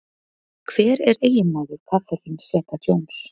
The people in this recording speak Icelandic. Hver er eiginmaður Catherine Zeta-Jones?